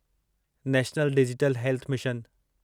national digital health mission